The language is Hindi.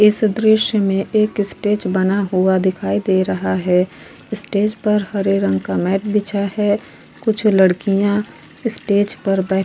इस दॄश्य में एक स्टेज बना हुआ दिखी दे रहा है स्टेज पर हरे रंग का मैंट बिछा है कुछ लड़कियां स्टेज पर बैठ --